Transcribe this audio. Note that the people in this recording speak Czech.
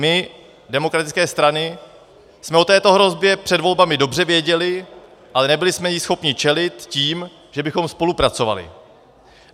My, demokratické strany, jsme o této hrozbě před volbami dobře věděly, ale nebyly jsme jí schopny čelit tím, že bychom spolupracovaly.